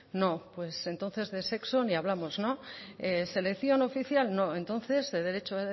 no pues entonces de sexo ni hablamos no selección oficial no entonces de derecho